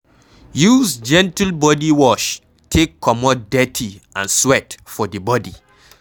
Use gentle body wash taka comot dirty and sweat for di body